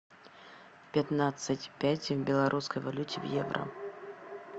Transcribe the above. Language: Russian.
пятнадцать пять в белорусской валюте в евро